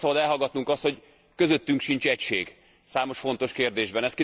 Azonban nem szabad elhallgatnunk azt, hogy közöttünk sincs egység számos fontos kérdésben.